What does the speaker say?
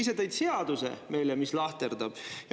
Ise tõid meile seaduse, mis lahterdab.